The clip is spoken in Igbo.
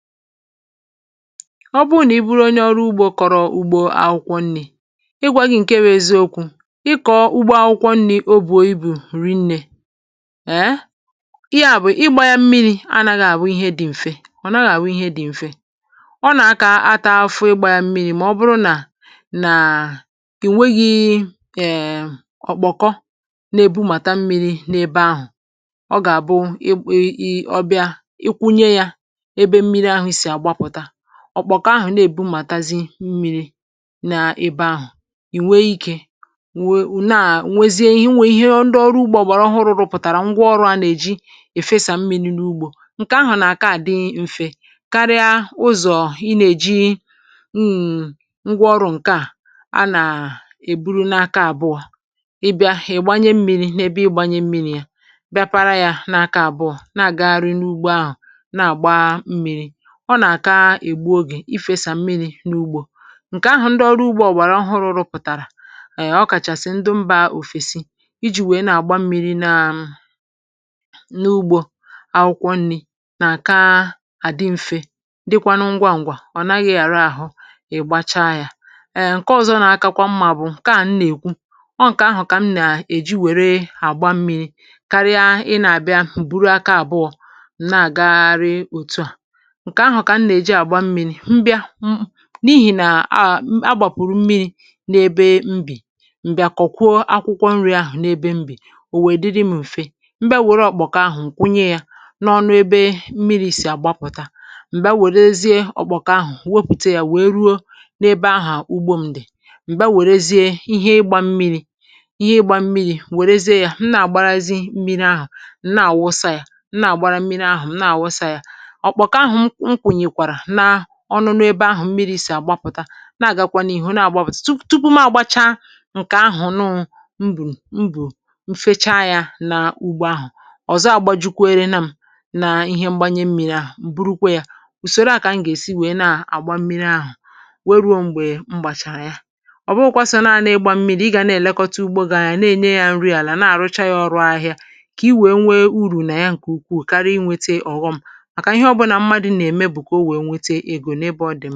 ọ bụrụ nà i buru onye ọrụ ugbȯ kọ̀rọ̀ ùgbò akwụkwọ nni̇ ịgwȧ gị ̇ ǹke bụ̇ eziokwu̇ ị kọ̀ọ ugbȯ akwụkwọ nni̇ obùo ibù rinnė ee ya bụ̀ ịgbȧ yȧ mmiri̇ anȧghị̀ àbụ ihe dị̀ m̀fe ọ naghị̀ àbụ ihe dị̀ m̀fe ọ nà-akȧ ata afụ ịgbȧ yȧ mmiri̇ mà ọ bụrụ nà nàà ì nweghi̇ err ọ̀ kpọ̀kọ nà-èbummàta mmiri̇ n’ebe ahụ̀ ọ̀kpọ̀kọ ahụ̀ ogabu i i obia ikwunye ya ebe mmiri ahu si apụta ọ̀kpọ̀kọ̀ ahu na-èbumàtazi mmiri n’ebe ahụ̀ ìnwe ikė nwe ùne à nwezie ihe nwè ihe ndị ọrụ ugbȯ àbọ̀rọhụ rụpụ̀tàrà ngwa ọrụ̇ a nà-èji è fesà mmi̇ri̇ n’ugbȯ ǹkè ahụ̀ nà-àka à dị mfe karịa ụzọ̀ ị nà-èji mm ngwa ọrụ̇ ǹkè à a nà-èburu n’aka àbụọ ị bịa è gbanye mmi̇ri̇ n’ebe ị gbanye mmi̇ri̇ ya bịa para yȧ n’aka àbụọ na-àgagharị n’ugbo ahụ̀ na-àgba mmi̇ri̇ ọ nà-àka ègbu ogè ifėsà mmiri̇ n’ugbȯ ǹkè ahụ̀ ndị ọrụ ugbȯ ọ̀gbàrà ọhụrụ̇ pụ̀tàrà ọ kàchàsị̀ ndụ mbȧ òfèsi iji̇ wèe na-àgba mmiri nȧ n’ugbȯ akwụkwọ nni̇ nà-àka àdị mfe dịkwanụ ngwa ǹgwà ọ̀ naghị̇ yàra àhụ ị̀gbacha yȧ err ǹke ọzọ nà-akakwa mmȧ bụ̀ ǹke à mịnà-èkwu ọ ǹkè ahụ̀ kà m nà-èji wère àgba mmiri̇ karịa ị nà-àbịa bụrụ aka àbụọ̇ na-àgari òtu à nke ahu kam ne eji agba mmiri mbịa m n’ihì nà ahà, a gbàpụ̀rụ̀ mmiri̇ n’ebe mbì m̀bịà kọ̀kwọ akwụkwọ nri̇ ahụ̀ n’ebe mbì ò wèdiri m̀fè mbịa wère ọ̀kpọ̀kọ̀ ahụ̀ ǹkwunye yȧ n’ọnụ ebe mmiri̇ sì àgbapụ̀ta m̀gbè a wèrezie ọ̀kpọ̀kọ̀ ahụ̀ wepùte yȧ wèe ruo n’ebe ahụ̀ ugbo m̀ di m̀ bia wèrezie ihe ịgbȧ mmiri̇ ihe ịgbȧ mmiri̇ wèrezie yȧ m nà-àgbarazị mmiri ahụ̀ nà àwụsa yȧ m nà-àgbara mmiri ahụ̀ m na àwụsa yȧ ọ̀kpọ̀kọ ahu m kwunyekwara na ọṅụṅụ ’ebe ahụ̀ mmiri̇ sì àgbapụ̀ta na-àgakwanụ ị̀hụ na-àgbapụ̀ta tupu tupu m ȧgbȧchȧ ǹkè ahụ̀ nụụ mbù mbù mfecha yȧ n’ugbȯ ahụ̀ ọ̀zọ agba jukwa ere na m̀ naa ihe mgbanye mmi̇ri̇ ahụ̀ m̀ burukwa yȧ ùsòro à kà m gà-èsi wèe na-àgba mmiri̇ ahụ̀ were ruo m̀gbè mgbàchàra ya ọ̀ bụụkwa sọ̀ naani ịgbȧ mmiri̇ ị gà na-èlekọta ugbo gị̇ gà-àna-ènye yȧ nri àlà na-àrụcha yȧ ọrụ ahịa kà i wèe nwee urù nà ya ǹkè ukwu karia inwėte ọ̀ghọṁ màkà ihe ọbụnà mmadụ̇ nà ème bụ ka o wee nweka ego n'ebe odi.